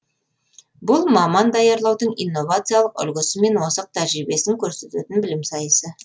бұл маман даярлаудың инновациялық үлгісі мен озық тәжірибесін көрсететін білім сайысы